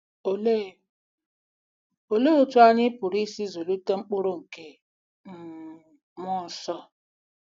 Olee Olee otú anyị pụrụ isi zụlite mkpụrụ nke um mmụọ nsọ?